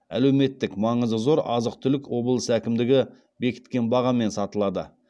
әлеуметтік маңызы зор азық түлік облыс әкімдігі бекіткен бағамен сатылады